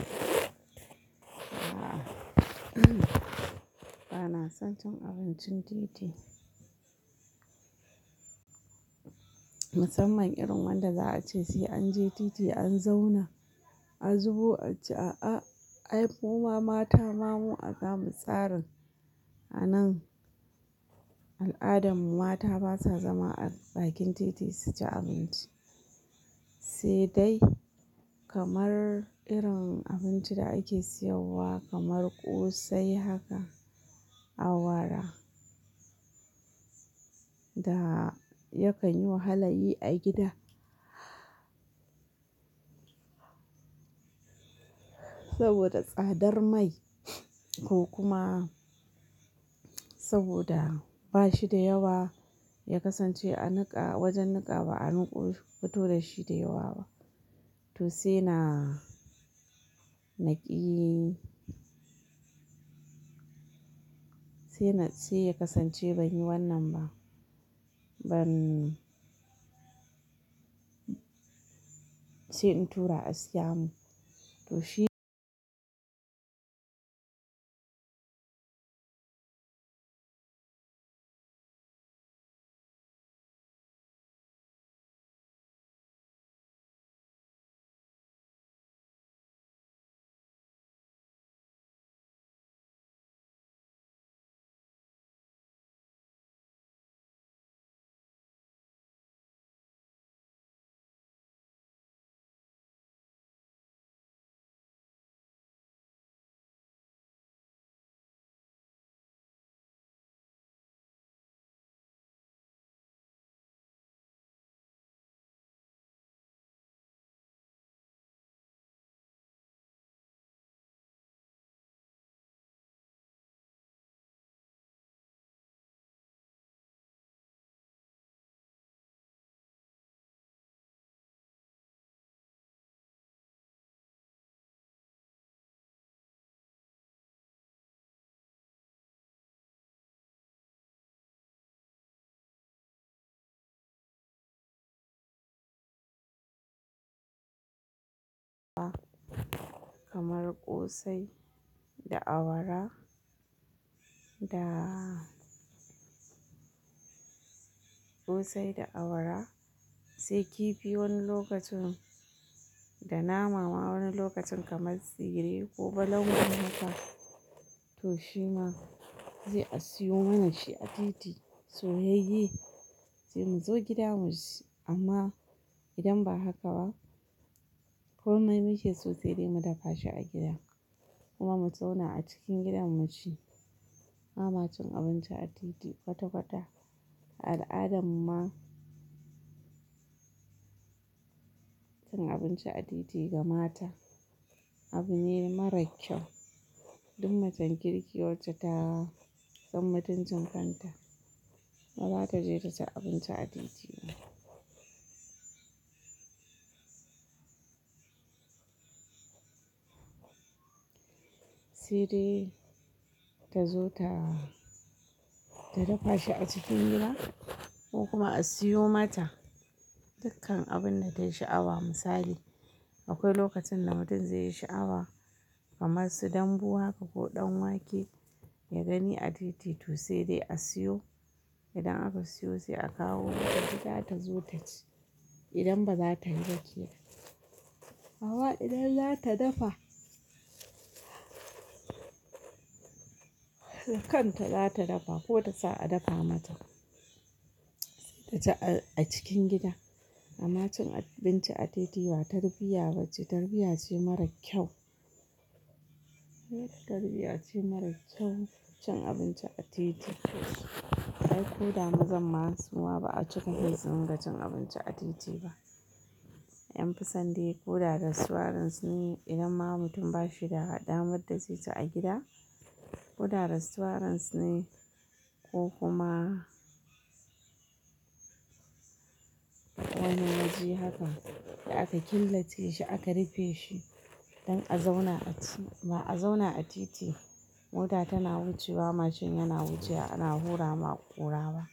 A'a, bana son cin abincin titi. Musamman irin wanda za a ce sai an je titi an zauna a zubo a ci. A'a, ai muma mata ma mu ana mu tsarin a nan. Al'adan mu mata basa zama a bakin titi su ci abinci. Sai dai kamar irin abinci da ake siyowa kamar ƙosai haka, awara. Da yakan yi wahalayi a gida. Saboda tsadar mai ko kuma saboda bashi da yawa ya kasance a niƙa wajen niƙa ba a niƙo fito da shi da yawa ba. To sai na, na ƙi. Sai na, sai ya kasance banyi wannan ba. Ban sai in tura a siya mun. To shi- kamar ƙosai da awara da ƙosai da awara sai kifi wani lokacin da nama ma wani lokacin kamar tsire ko balangun haka. To shi ma zai a siyo mana shi a titi. Soyayye, sai mu zo gida mu ci amma idan ba haka ba kokai muke so sai dai mu dafa shi a gida kuma mu zauna a cikin gidan mu ci. Ba ma cin abinci a titi kwata kwata. Al'adan mu ma cin abinci a titi ga mata abu ne mara kyau. Duk macen kirki wacce ta san matuncin kanta, ba za ta je ta ci abinci a titi ba. Sai dai ta zo ta, ta dafa shi a cikin gida ko kuma a siyo mata dukkan abun da tayi sha'awa misali akwai lokacin da mutum zai yi sha'awa kamar su dambu haka ko ɗan wake ya gani a titi to sai dai a siyo. Idan aka siyo sai a kawo gida ta zo ta ci. Idan ba za ta yi ba a kira. Amma idan za ta dafa, dakanta za ta dafa ko ta sa a dafa mata ta ci a cikin gida. Amma cin abinci a titi ba tarbiyya ba ce. Tarbiyya ce mara kyau. Tarbiyya ce mara kyau cin abinci a titi. Ai koda mazan masu ma ba a cika kai su ringa cin abinci a titi ba. An fisande ko da rastuwaran ne idan ma mutum ba shi da damar da zai ci a gida, ko da rastuwarin su ne ko kuma wani waje haka da aka killace shi aka rufe shi don a zauna a ci. Ba a zauna a titi mota tana wucewa, mashin yana wucewa ana hura ma ƙurawa.